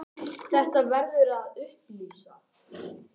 Þetta verður að upplýsa.